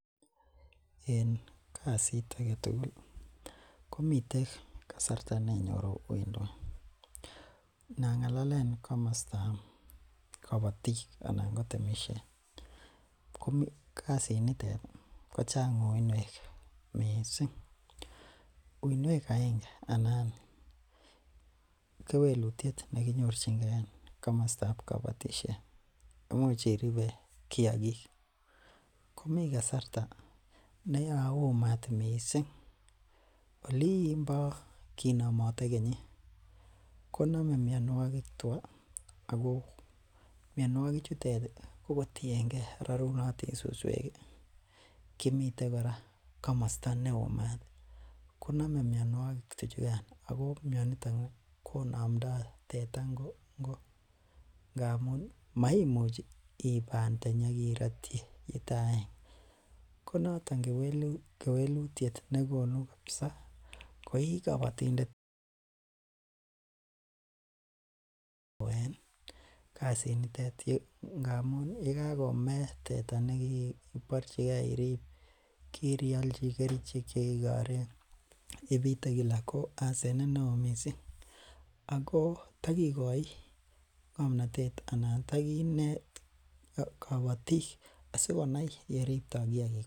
En kasit agetugul komiten kasarta nenyoru uindo. Inang'alalaen kamasto kabatik anan ko temisiet, ko kasit nitet kochang uinwek missing. Uinwek aenge anan kewelutiet nekinyorchike en kamastab kabatisiet ih imuch iribe kiagik komi kasarta neyaomat missing Olin bo kinamate kenyit , koname mianogik tua ago miannuagik chutet ih kotienge rarunatin suswek kimiten kora kamasto neoo mat ih koname mianogik tuchugan Ako mianitoni ih konamto teta ingo ingo ngamun makoiiban tenyi akirotyi yetaaenge konaton kewelutiet negonu kabisa koikabatindet koyae kasit nitet ngamun yakakome teta inyebarchike iribe , kirialchi kerichek chekigoren, ibite Kila ko asenet neo missing ako tha ng'amnotet anan taginet kabatik asikonai yeribto kiagik kuak.